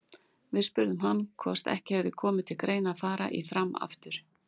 Við spurðum hann hvort ekki hefði komið til greina að fara í Fram aftur?